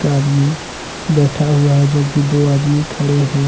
आदमी बैठा हुआ है जबकि दो आदमी खड़े हैं ।